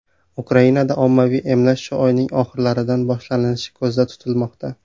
Ukrainada ommaviy emlash shu oyning oxirlaridan boshlanishi ko‘zda tutilmoqda.